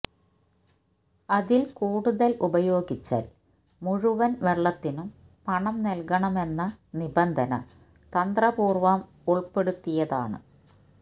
അതില് കൂടുതല് ഉപയോഗിച്ചാല് മുഴുവന് വെള്ളത്തിനും പണം നല്കണമെന്ന നിബന്ധന തന്ത്രപൂര്വം ഉള്പ്പെടുത്തിയതാണ്